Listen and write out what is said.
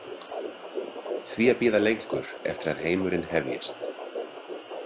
Því að bíða lengur eftir að heimurinn hefjist?